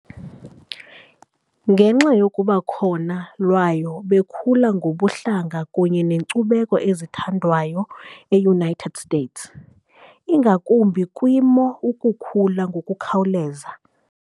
Ngenxa yokuba khona layo bekhula ngobuhlanga kunye nenkcubeko ezithandwayo eUnited States, ingakumbi kwiimo ukukhula ngokukhawuleza